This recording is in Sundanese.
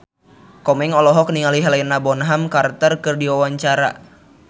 Komeng olohok ningali Helena Bonham Carter keur diwawancara